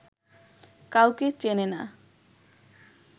কাউকে চেনে না